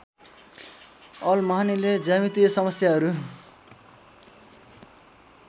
all महानिले ज्यामितीय समस्याहरू